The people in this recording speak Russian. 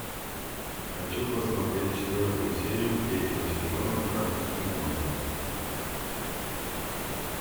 хочу посмотреть четвертую серию третьего сезона карточный домик